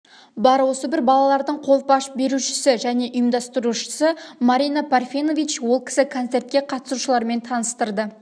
бар осы бір балалардың қолпаш берушісі және ұйымдастырушысы марина парфенович ол кісі концетрке қатысушылармен таныстырды